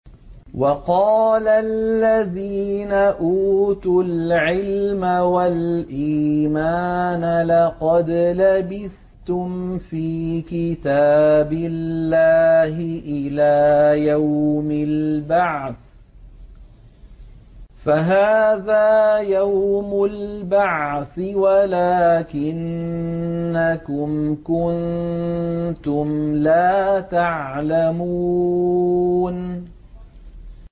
وَقَالَ الَّذِينَ أُوتُوا الْعِلْمَ وَالْإِيمَانَ لَقَدْ لَبِثْتُمْ فِي كِتَابِ اللَّهِ إِلَىٰ يَوْمِ الْبَعْثِ ۖ فَهَٰذَا يَوْمُ الْبَعْثِ وَلَٰكِنَّكُمْ كُنتُمْ لَا تَعْلَمُونَ